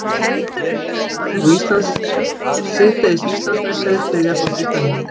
Breiðablik varð nú síðdegis Íslandsmeistari í þriðja flokki kvenna.